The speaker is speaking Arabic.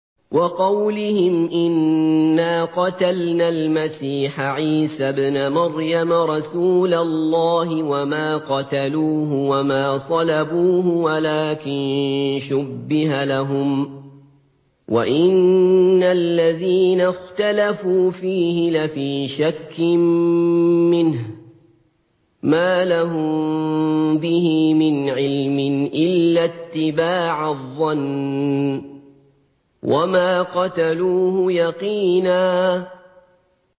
وَقَوْلِهِمْ إِنَّا قَتَلْنَا الْمَسِيحَ عِيسَى ابْنَ مَرْيَمَ رَسُولَ اللَّهِ وَمَا قَتَلُوهُ وَمَا صَلَبُوهُ وَلَٰكِن شُبِّهَ لَهُمْ ۚ وَإِنَّ الَّذِينَ اخْتَلَفُوا فِيهِ لَفِي شَكٍّ مِّنْهُ ۚ مَا لَهُم بِهِ مِنْ عِلْمٍ إِلَّا اتِّبَاعَ الظَّنِّ ۚ وَمَا قَتَلُوهُ يَقِينًا